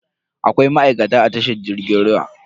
Akwai ma'aikata a tashar jirgin ruwa.